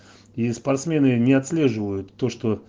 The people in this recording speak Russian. и спортсмены не отслеживают то что